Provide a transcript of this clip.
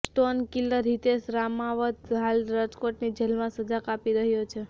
stone killer Hitesh Ramavat હાલ રાજકોટની જેલમાં સજા કાપી રહ્યો છે